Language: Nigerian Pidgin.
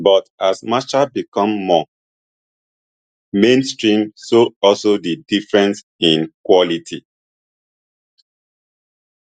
but as matcha become more mainstream so also di difference in quality